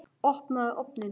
Opnaðu ofninn!